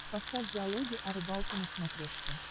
поставь диалоги о рыбалке на смотрешке